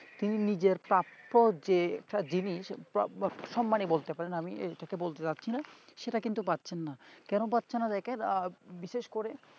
তিনি নিজের প্রাপ্য যে যেটা জিনিস বা বা সম্মানী বলতে পারেন আমি এটাকে বলতে চাইছি না সেটা কিন্তু পাচ্ছেন না কেন পাচ্ছেনা দেখেন বিশেষ করে